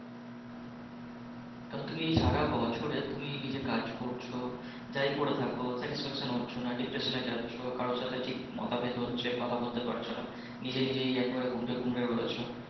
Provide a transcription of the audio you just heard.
কারন তুমি এই সারা বছরে তুমি নিজে কাজ করছো যাই করে থাকো satisfaction ও হচ্ছ না depression এ যাচ্ছ কারো সাথে ঠিক মতভেদ হচ্ছে, কথা বলতে পারছি না, নিজে নিজে একেবারে দুমড়ে দুমড়ে রয়েছে